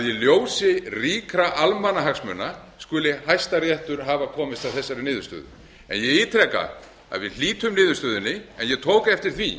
ljósi ríkra almannahagsmuna skuli hæstiréttur hafa komist að þessari niðurstöðu en ég ítreka að við hlítum niðurstöðunni en ég tók eftir því